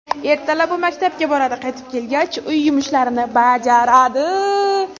Ertalab u maktabga boradi, qaytib kelgach uy yumushlarini bajaradi.